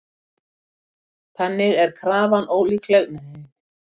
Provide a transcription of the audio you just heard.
Þannig er afar ólíklegt að við kunnum skil á fjarskiptatækni háþróaðra vitsmunavera.